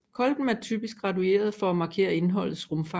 Kolben er typisk gradueret for at markere indholdets rumfang